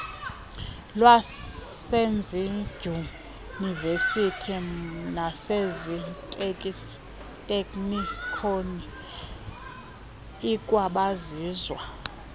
lwasezidyunivesithi naseziteknikoni ikwabizwa